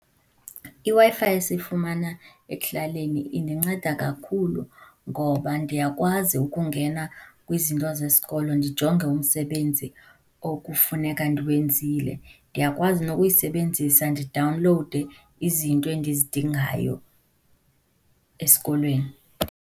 IWi-Fi esiyifumana ekuhlaleni indinceda kakhulu ngoba ndiyakwazi ukungena kwizinto zesikolo, ndijonge umsebenzi okufuneka ndiwenzile. Ndiyakwazi nokuyisebenzisa ndidawunlowude izinto endizidingayo esikolweni.